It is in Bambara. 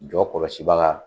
Jɔ kɔlɔsi baga.